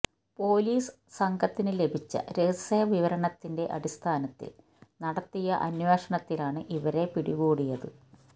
police സംഘത്തിന് ലഭിച്ച രഹസ്യവിവരത്തിന്റെ അടിസ്ഥാനത്തിൽ നടത്തിയ അന്വേഷണത്തിലാണ് ഇവരെ പിടികൂടിയത്